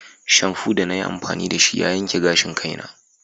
Shamfu da na yi amfani da shi ya yanke gashin kaina.